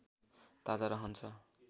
ताजा रहन्छ